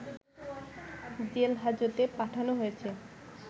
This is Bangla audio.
জেলহাজতে পাঠনো হয়েছে